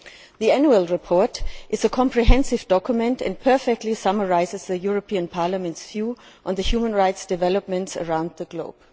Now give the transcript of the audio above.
The annual report is a comprehensive document and perfectly summarises the European Parliament's view on human rights developments around the globe.